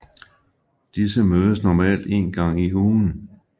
Disse mødes normalt en gang i ugen